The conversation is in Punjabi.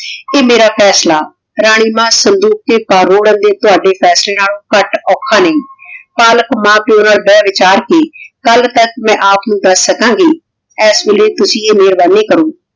ਕੇ ਮੇਰਾ ਫੈਸਲਾ ਰਾਨੀ ਮਾਨ ਸੰਦੂਕ ਦੇ ਨਾਲ ਰੋਰਾਂ ਦੇ ਤਾਵਾਡੇ ਫੈਸਲੇ ਨਾਲੋਂ ਕਤ ਓਖਾ ਨਹੀ ਪਾਲਕ ਮਾਨ ਪਾਯੋ ਨਾਲ ਬੇਹ ਵਿਚਾਰ ਕੇ ਕਲ ਤਕ ਮੈਂ ਆਪ ਨੂ ਦਸ ਸਕਣ ਗੀ ਏਸ ਵੇਲੇ ਤੁਸੀਂ ਈਯ ਮੇਹਰਬਾਨੀ ਕਰੋ